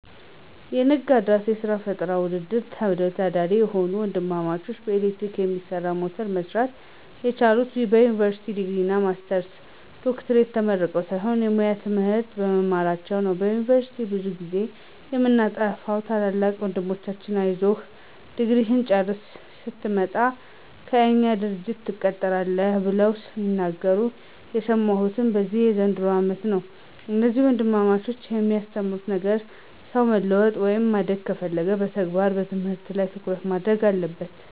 የነጋድራስ የስራ ፈጠራ ውድድር ተወዳዳሪ የሆኑት ወንድማማቾች በኤሌክትሪክ የሚሰራ ሞተር መስራት የቻሉት የዩኒቨርሲቲ ዲግሪ፣ ማስተርስ እና ዶክትሬት ተመርቀው ሳይሆን የሙያ ትምህርት በመማራቸው ነው። በዩኒቨርስቲ ብዙ ጊዜ የምታጠፋዉ ታላቁ ወንድማችን አይዞህ ድግሪህን ጨርሰህ ስትመጣ ከእኛ ድርጅት ትቀጠራለህ ብለው ሲናገሩ የሰማሁት በዚህ በዘንድሮው አመት ነው። እነዚህ ወንድማማቾች ያስተማሩት ነገር ሰው መለወጥ ወይም ማደግ ከፈለገ የተግባር ትምህርት ላይ ትኩረት ማድረግ አለበት።